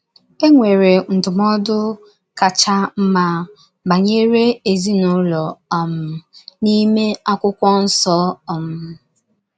E nwere ndụmọdụ kacha mma banyere ezinụlọ um n’ime akwụkwọ nso. um